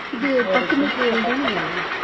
இது பட்டு material தானேங்க